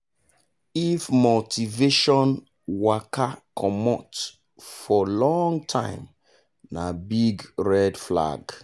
if motivation waka comot for long time na big red flag.